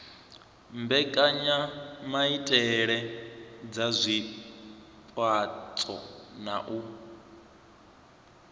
mbekanyamaitele dza zwipotso na u